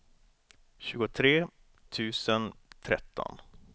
tjugotre tusen tretton